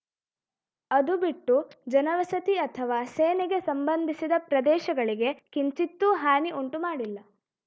ಅದು ಬಿಟ್ಟು ಜನವಸತಿ ಅಥವಾ ಸೇನೆಗೆ ಸಂಬಂಧಿಸಿದ ಪ್ರದೇಶಗಳಿಗೆ ಕಿಂಚಿತ್ತೂ ಹಾನಿ ಉಂಟು ಮಾಡಿಲ್ಲ